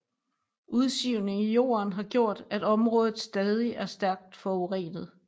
Udsivning i jorden har gjort at området stadig er stærkt forurenet